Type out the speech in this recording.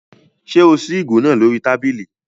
Ṣé o ṣí ìgò náà lórí tábìlì?